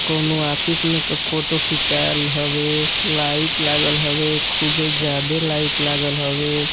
कउनो ऑफिस में के फोटो खींचाएल हवे। लाइट लागल हवे खुबे जादे लाइट लागल हवे --